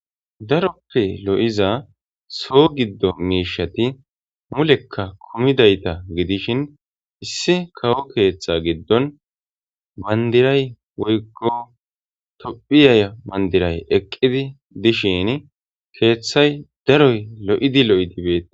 Daroppe lo'iza soho giddo mishshati mulekka kumidaytta giddishin issi kawo keththa giddon banddiray woyko Tophiya banddiray eqqidi de'shin keththaydaroy lo'idi lo'idi bettes.